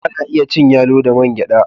Ana iya cin yalo da man gyada.